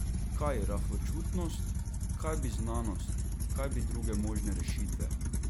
Kaj rahločutnost, kaj bi znanost, kaj bi druge možne rešitve?